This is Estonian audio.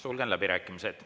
Sulgen läbirääkimised.